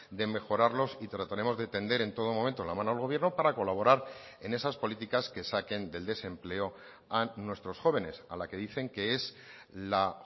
de mejorarlos y trataremos de tender en todo momento la mano al gobierno para colaborar en esas políticas que saquen del desempleo a nuestros jóvenes a la que dicen que es la